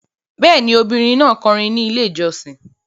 Bẹ́ẹ̀ ni, ọmọbìnrin náà kọrin ní Ilé-ìjọsìn.